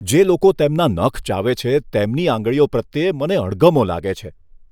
જે લોકો તેમના નખ ચાવે છે તેમની આંગળીઓ પ્રત્યે મને અણગમો લાગે છે.